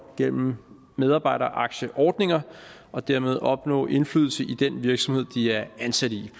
gennem medarbejderaktieordninger og dermed opnå indflydelse i den virksomhed de er ansat i